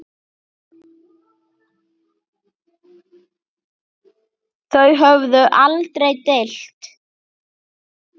Þau höfðu aldrei deilt.